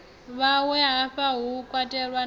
vhawe hafha hu katelwa na